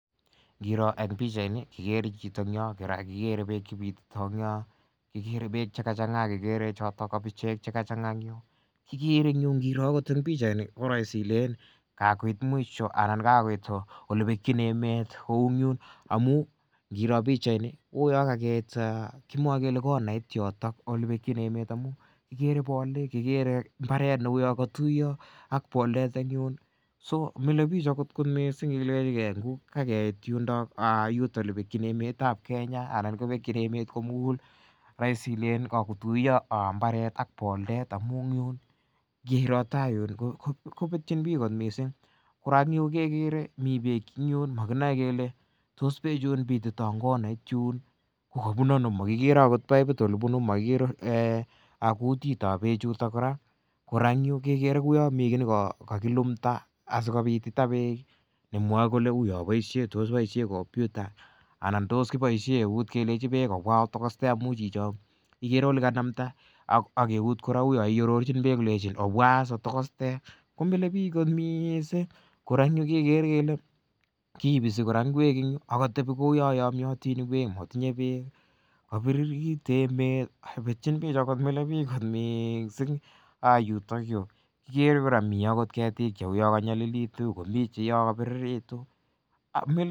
Kirooh en pichait ni kikere chito ak bek chepitito en yon kikere bek chemachang'a akekere choto kabichek chemachang'a en yu. Kikere kora en pichait ni kele kakoit mwisho olebekyin emet kouu yuun amuun, ingirooh pichait ni kouu kakimwa kele olebekyin yoto. Amuun kikere bolik, kikere mbaret nekatuyo ak boldet so komilebich akoth missing, yuton elebekyin emetab Kenya anan elebekyin emet komugul ko raisivilen kakotuyo imbaret ak bolik amuun kirooh taiyun kobetyin bich kot missing, kora en yu kekere mi bek en yuun maginaevkele tos beechun kobitito Ako bunu ano Ako magikere akot piput olebunu, magiger akot kutit tab bek chuton, kora kekere kele mi ki nekakilumda , asikobititho bek , tos u boishe komputa anan tos kiboisien kelenchin bek obwan otokoste amuun chichon. Ikere chichiton kouu nelechin obwan onyitokosten , komilebich kot missing kora en yu kekere kele kiboisien kora inguek en yu kou yan amiatin inguek, kabiririt emet milebik kot missing, kikere kora mi agot ketik Cheka nyalilitu komi chekobiririkitu.